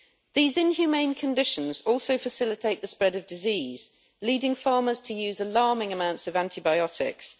These inhumane conditions also facilitate the spread of disease, leading farmers to use alarming amounts of antibiotics.